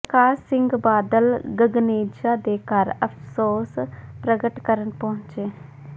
ਪ੍ਰਕਾਸ਼ ਸਿੰਘ ਬਾਦਲ ਗਗਨੇਜਾ ਦੇ ਘਰ ਅਫਸੋਸ ਪ੍ਰਗਟ ਕਰਨ ਪਹੁੰਚੇ